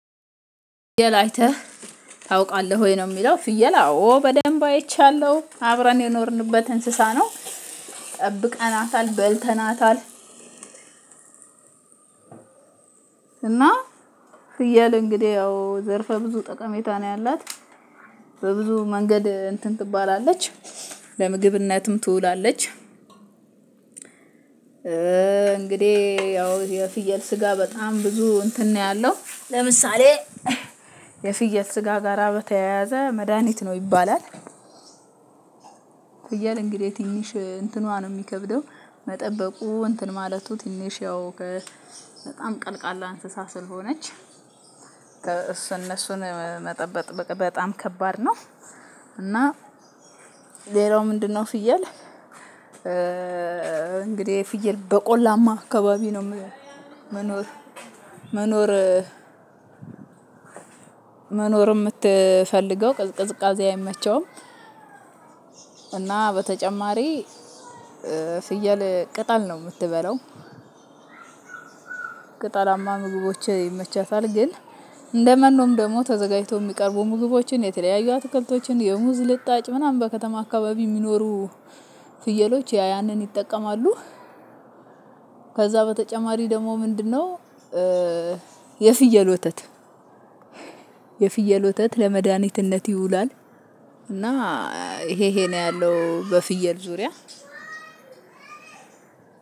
ፍየል አይተህ ታውቃለህ ወይ? ነው ሚለው ፍየል አዎ በደንብ አይቻለሁ አብረን የኖርንበት እንስሳ ነው። ጠብቀናታል በልተናታል። እና ፍየል አንግዲህ የው ዘርፋ ብዙ ጠቀሜታ ነው የለት። በብዙ መንገድ እንትን ትበላለች ለምግብነትም ትውላለች። እንግዲህ ያው የፍየል ስጋ በጣም ብዙ እንትን ነው ያለው። ለምሳሌ የፍየል ስጋ ጋራ በተያያዘ መድሃኒት ነው ይባላል። ፍየል እንግዲህ ትንሽ እንትኗን ነው ሚከብደው መጠበቁ እንትን ማለቱ ትንሽ ያው በጣም ቀልቃላ እንስሳ ስለሆነች በቃ እሱን እነሱን መጠበቅ በጣም ከባድ ነው። እና ሌላው ምንድነው? ፍየል። እንግዲህ ፍየል በቆላማ አካባቢ ነው መኖር መኖር መኖር ምትፈልገው ቅዝቃዜ አይመቸውም። እና በተጨማሪ ፍየል ቅጠል ነው ምትበላው። ቅጠላማ ምግቦች ይመቻታል ግን እንደመኖም ደግሞ ተዘጋጅቶ ሚቀርቡ ምግቦችን የተለያዩ አትክልቶችን የሙዝ ልጣጭ ምናምን በከተማ አካባቢ ሚኖሩ ፍየሎች ያ ያንን ይጠቀማሉ። ከዛ በተጨማሪ ደግሞ ምንድነው? የፍየል ወተት የፍየል ወተት ለመድኃኒትነት ይውላል። እና ይሄ ይሄ ነው ያለው በፍየል ዙሪያ።